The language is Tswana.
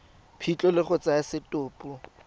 phitlho le go tsaya setopo